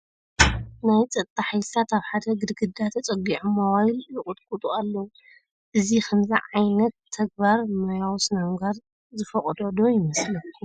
ናይ ፀጥታ ሓይልታት ኣብ ሓደ ግድግዳ ተፀጊዖም ሞባይል ይቖጣቑጡ ኣለዉ፡፡ እዚ ከምዚ ዓይነት ተግባራ ሞያዊ ስነ ምግባር ዝፈቕዶ ዶ ይመስለኩም፡?